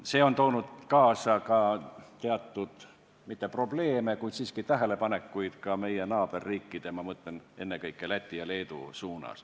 See on toonud kaasa ka teatud – mitte probleeme, kuid siiski – tähelepanekuid meie naaberriikide suunas, ma mõtlen ennekõike Lätit ja Leedut.